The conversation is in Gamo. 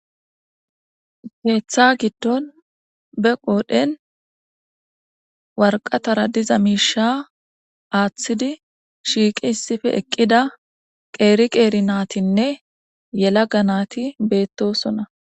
Geeththa giddon be qoodhen warqatara diza miisha aaththidi shiiqi issife eqqida qeeri qeeri naatinne yela ga naati beettosona.